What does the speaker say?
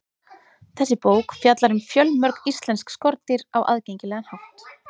þessi bók fjallar um fjölmörg íslensk skordýr á aðgengilegan hátt